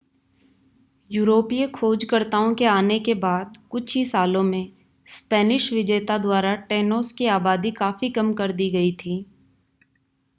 यूरोपीय खोजकर्ताओं के आने के बाद कुछ ही सालों में स्पेनिश विजेता द्वारा टेनोस की आबादी काफी कम कर दी गई थी